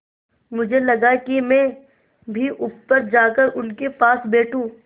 मुझे लगा कि मैं भी ऊपर जाकर उनके पास बैठूँ